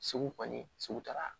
Segu kɔni sugu taara